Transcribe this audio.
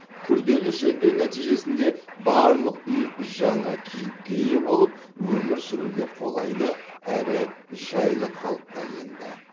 күрделі жөндеу нәтижесінде барлық үй жаңа кейіпке ие болып өмір сүруге қолайлы әрі жайлы қалыпқа енді